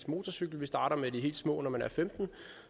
motorcykel man starter med de helt små når man er femten år